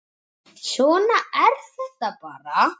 Svona er þetta bara.